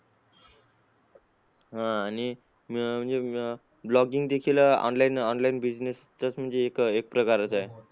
हा आणि म्हणजे अं blogging देखील online online business चा म्हणजे एक एक प्रकार आहे.